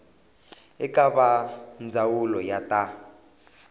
eka va ndzawulo ya ta